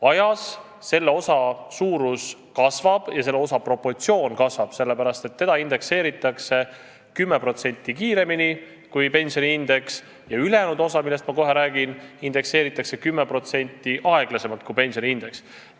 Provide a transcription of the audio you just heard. Aja jooksul selle osa suurus kasvab ja selle osa proportsioon samuti, sellepärast et seda indekseeritakse 10% kiiremini kui pensioniindeks ja ülejäänud osa, millest ma kohe räägin, indekseeritakse 10% aeglasemalt kui pensioniindeks.